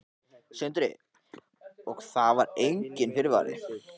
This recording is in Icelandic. Sindri: Og það var enginn fyrirvari?